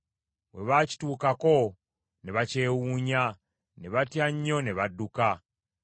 bwe baakituukako ne bakyewuunya, ne batya nnyo ne badduka;